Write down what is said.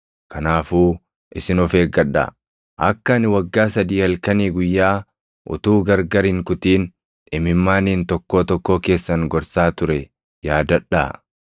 Kanaafuu isin of eeggadhaa! Akka ani waggaa sadii halkanii guyyaa utuu gargar hin kutin imimmaaniin tokkoo tokkoo keessan gorsaa ture yaadadhaa.